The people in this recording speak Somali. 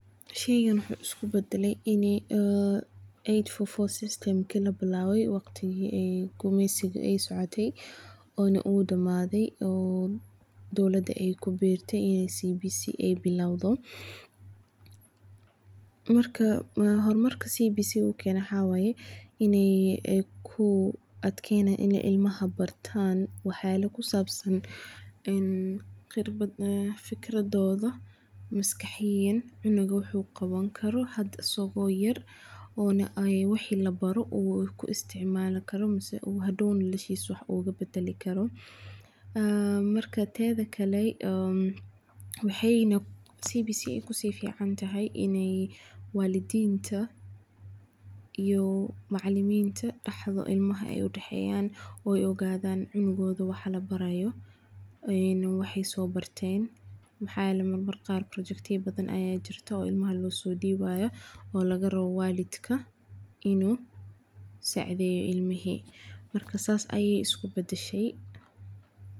Wuxuu isku badale in labilaabe waqtiga gumeysiga, hor marka uu keeno waxaa waye inaay bartaan wax yaabaha maskaxdooda, sii uu noloshiisa wax ugu bedeli Karo, waxeey kufican tahay, waxaa jira wax yaaba badan oo ilmaha loo soo dibaato.